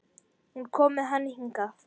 Hún kom með hann hingað.